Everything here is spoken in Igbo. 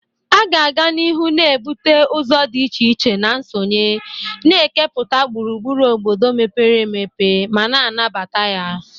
A ga-aga n'ihu na-ebute ụzọ dị iche iche na nsonye, na-ekepụta gburugburu obodo mepere emepe ma na-anabata ya.